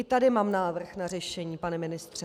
I tady mám návrh na řešení, pane ministře.